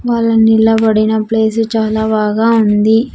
వాళ్ళు నిలబడిన ప్లేస్ చాల బాగా ఉంది.